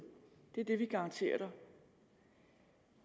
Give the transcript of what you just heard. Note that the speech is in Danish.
det er det vi garanterer dig